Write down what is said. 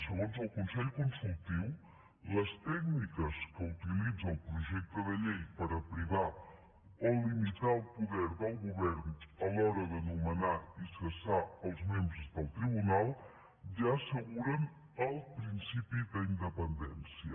segons el consell consultiu les tècniques que utilitza el projecte de llei per a privar o limitar el poder del govern a l’hora de nomenar i cessar els membres del tribunal ja asseguren el principi d’independència